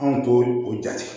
Anw t'o jate